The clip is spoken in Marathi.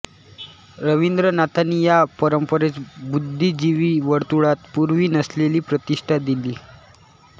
रवींद्रनाथांनी या परंपरेस बुद्धिजीवी वर्तुळात पूर्वी नसलेली प्रतिष्ठा दिली